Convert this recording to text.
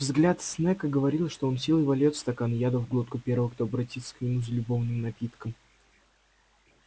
взгляд снегга говорил что он силой вольёт стакан яда в глотку первого кто обратится к нему за любовным напитком